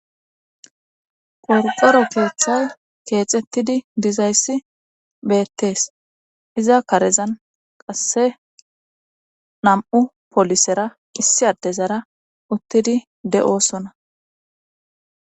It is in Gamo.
Qordoro keeththaw keexettidi dizayssi beettees iza karezan qasse nam'u polisera kissi adde zara uttidi de'osona.